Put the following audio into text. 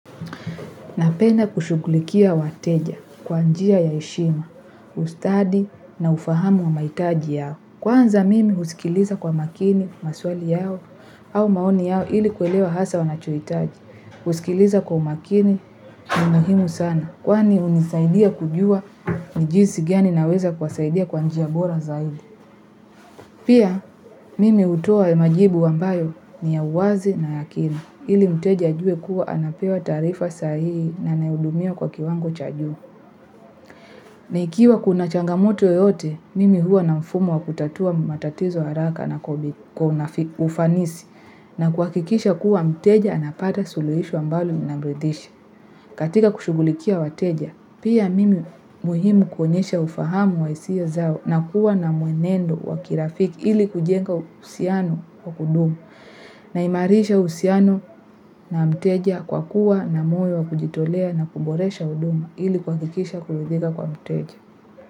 Napenda kushughulikia wateja kwa njia ya heshima, ustadi na ufahamu wa mahitaji yao. Kwanza mimi husikiliza kwa makini, maswali yao, au maoni yao ili kuelewa hasa wanachohitaji. Kusikiliza kwa makini ni muhimu sana. Kwani hunisaidia kujua jinsi gani naweza kuwasaidia kwa njia bora zaidi. Pia mimi hutoa majibu ambayo ni ya uwazi na yakina. Ili mteja ajue kuwa anapewa taarifa sahii na nahudumia kwa kiwango cha juu. Na ikiwa kuna changamoto yoyote, mimi huwa na mfumo wa kutatua matatizo haraka na kwa ufanisi na kuhakikisha kuwa mteja anapata suluhisho ambalo na linamridhisha. Katika kushughulikia wateja, pia mimi muhimu kuonyesha ufahamu wa hisia zao na kuwa na mwenendo wa kirafiki ili kujenga uhusiano wa kudumu na imarisha uhusiano na mteja kwa kuwa na moyo wa kujitolea na kuboresha huduma ili kuhakikisha kuridhika kwa mteja.